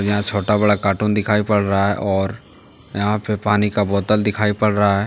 यहां छोटा-बड़ा कार्टून दिखाई पड़ रहा है और यहां पे पानी का बोतल दिखाई पड़ रहा है ।